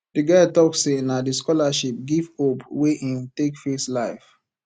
di guy tok sey na di scholarship give hope wey im take face life